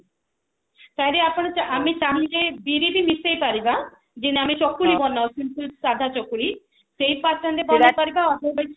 ଆପଣ ଆମେ ଚାହୁଁଛେ ବିରି ବି ମିଶେଇ ପାରିବା ଯେମତି ଆମେ ଚକୁଳି ବନାଉ ସଦା ଚକୁଳି ସେଇ pattern ରେ ବନେଇ ପାରିବା ଯୋଉଟା କି